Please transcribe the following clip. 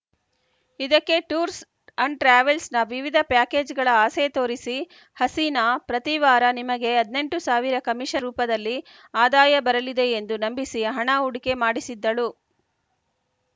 ಇದಕ್ಕೆ tours and ಟ್ರಾವೆಲ್ಸ್‌ನ ವಿವಿಧ ಪ್ಯಾಕೇಜ್‌ಗಳ ಆಸೆ ತೋರಿಸಿ ಹಸೀನಾ ಪ್ರತಿ ವಾರ ನಿಮಗೆ ಹದಿನೆಂಟು ಸಾವಿರ ಕಮಿಷನ್‌ ರೂಪದಲ್ಲಿ ಆದಾಯ ಬರಲಿದೆ ಎಂದು ನಂಬಿಸಿ ಹಣ ಹೂಡಿಕೆ ಮಾಡಿಸಿದ್ದಳು